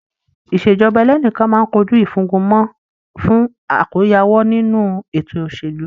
Ìṣèjọba ẹlẹ́nìkan máa kojú ìfúngunmọ́ fún àkóyawọ́ ninu ètò òṣèlú.